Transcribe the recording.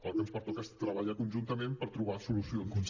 el que ens pertoca és treballar conjuntament per trobar solucions